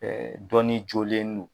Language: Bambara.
dɔnni jolen do.